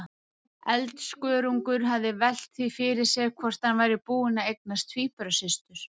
Eldskörungur hefði velt því fyrir sér hvort hann væri búinn að eignast tvíburasystur!